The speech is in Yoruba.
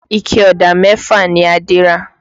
Ike Ọ̀dà mẹ́fà ni Adé ra